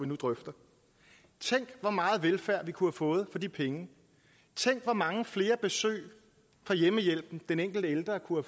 nu drøfter tænk hvor meget velfærd vi kunne have fået for de penge tænk hvor mange flere besøg fra hjemmehjælpen den enkelte ældre kunne